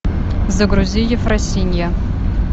загрузи ефросинья